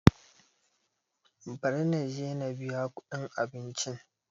Bari na je na biya kuɗin abincin.